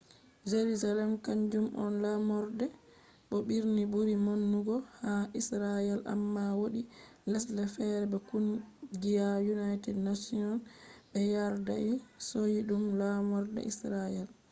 jerusalem kanjum on laamorde bo birni buri maunugo ha israel amma wodi lesde fere be kungiya united nations bé yardai hosi dum laamorde israel